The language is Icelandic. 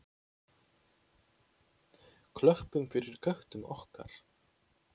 Klöppum fyrir köttum okkar!